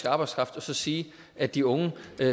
arbejdskraft og så sige at de unge